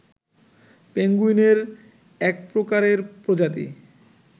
পেঙ্গুইনের এক প্রকারের প্রজাতি